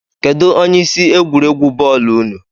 Kedụ onye isi egwuregwu bọọlu ụnụ?